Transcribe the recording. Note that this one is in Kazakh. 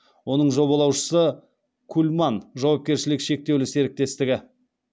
оның жобалаушысы кульман жауапкершілігі шектеулі серіктестігі